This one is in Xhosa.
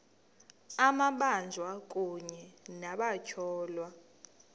amabanjwa kunye nabatyholwa